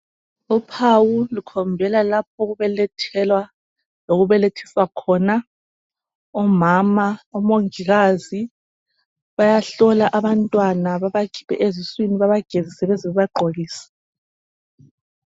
Uphawu lukhombela lapho okubelethelwa lokubelethiswa khona omama, omongikazi bayahlola abantwana bebakhiphe eziswini bebagezise beze bebagqokise.